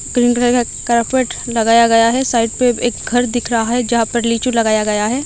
Green colour का carpet लगाया गया है साइड पे एक घर दिख रहा है जहां पे लीचू लगाया गया है।